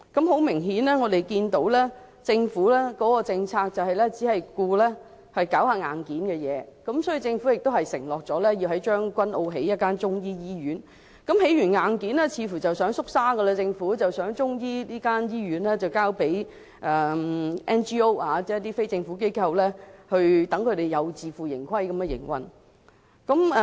很明顯，我們可以看到，政府的政策只顧興建硬件，例如政府承諾在將軍澳建設一間中醫醫院，建設了硬件後政府似乎又想"縮沙"，有意將中醫醫院交給 NGO， 即非政府機構以自負盈虧的方式營運。